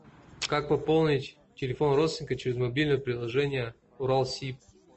как пополнить телефон родственника через мобильное приложение уралсиб